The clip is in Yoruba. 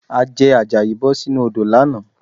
Àjẹ̀ Àjàyí bọ̀ sínú odò lánàá